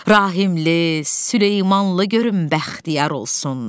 Rahimli, Süleymanlı görüm bəxtiyar olsun.